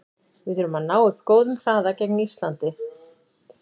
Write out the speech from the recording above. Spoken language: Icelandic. Við þurfum að ná upp góðum hraða gegn Íslandi.